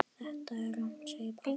Þetta er rangt segir Páll.